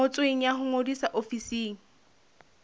ngotsweng ya ho ngodisa ofising